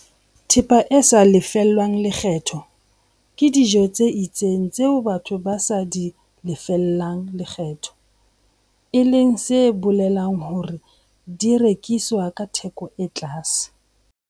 Thepa e sa lefellweng lekgetho ke dijo tse itseng tseo batho ba sa di lefelleng lekgetho, e leng se bolelang hore di rekiswa ka theko e tlase.